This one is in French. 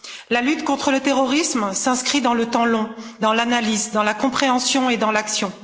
La lutte contre le terrorisme s'inscrit dans le temps long, dans l'analyse, dans la compréhension et dans l'action.